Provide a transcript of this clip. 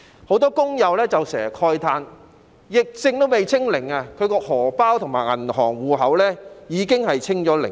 很多工友時常慨嘆，疫症尚未"清零"，他們的"荷包"及銀行戶口已經"清零"。